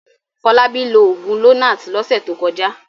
Fọlábí lo òògùn Lonart lọ́sẹ̀ tó kọjá.